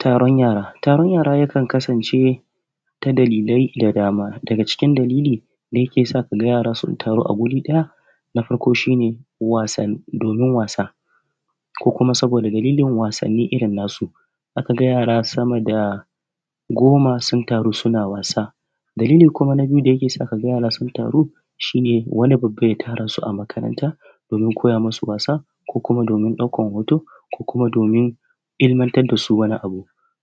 Taron yara taron yara yakan kasance ta dalilai da dama daga cikin dalili yake sa yara kaga sun taru a guriɗaya na farko shi ne domin wasa ko kuma saboda dalilin wasanni irin nasu ka ga yara sama da goma sun taru suna wasa. Dalili kuma na biyu da yake sa yara ka ga su taru shi ne dani babba ya tara su a makaranta domin ya koya musu wasa ko kuma domin ɗaukan hoto ko kuma domin ilimantar da su.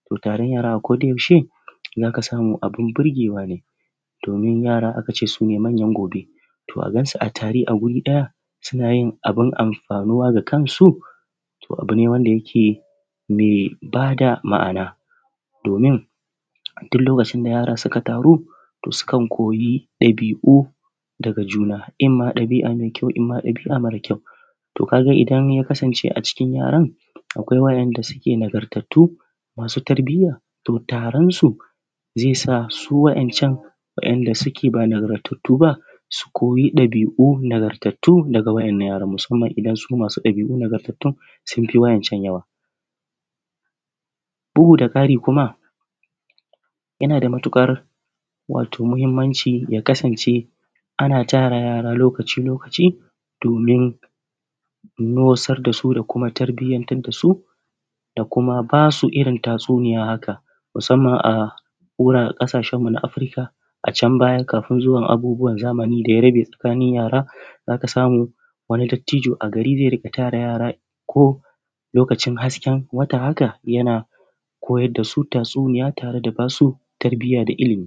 To, taron yara a ko da yaushe za ka samu abun burgewa ne domin yara aka ce su ne anyan gobe, to a gan su a tare wuri ɗaya suna yin abun amfanuwa da kansu to abu ne wanda yake me ba da ma’ana domin a duk lokacin da yara suka taru sukan koyi ɗabi’u daga juna. In ma ɗabi’a me kyau in ma ɗabi’a mara kyau. To jaga idan ya kasnce a cikin yaran akwai wanda suke nagartattatu masu tarbiyya, to taronsu ze sa su waɗancan wanda suke ba nagartattu ba su koyi ɗabi’u nagartattatu daga wanin nan yaran musamman in masu ɗabi’u nagartattatun sun fi wa, incan yawa. Bugu da ƙari kuma yana da matuƙar wato mahinmanci ya kasnace ana tara yara lokaci-lokaci domin nosar da su da kuma tarbiyantar da su da kuma ba su irin tatsuniya, haka musamman a ƙasashen mu na Afurika a can baya kafin zuwan abin zamani da ya rabe tsakanin yara za ka samu wani dattijo a gari ze riƙa tara yara ko lokacin hasken wata haka yana koyar da su tatsuniya tare da ba su tarbiya da ilimi.